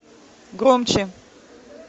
громче